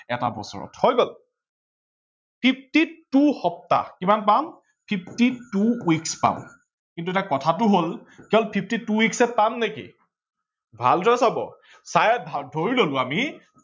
এটা বছৰত হৈ গল। fifty two সপ্তাহ কিমান পাম fifty two week পাম। কিন্তু এতিয়া কথাটো হল তেও fifty two weeks ত পাম নেকি ভালদৰে চাব, চাই ধৰি ললো আমি